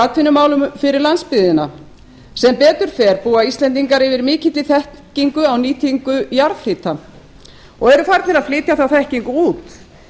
atvinnumálum fyrir landsbyggðina sem betur fer búa íslendingar yfir mikilli þekkingu á nýtingu jarðhita og eru farnir að flytja þá þekkingu út